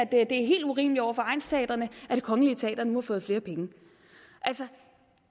det er helt urimeligt over for egnsteatrene at det kongelige teater nu har fået flere penge altså